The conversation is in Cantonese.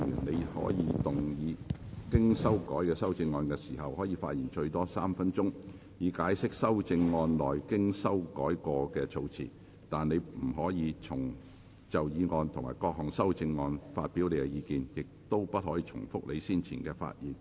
你在動議經修改的修正案時，可發言最多3分鐘，以解釋修正案內經修改的措辭，但你不可再就議案及各項修正案發表意見，亦不可重複你先前的發言。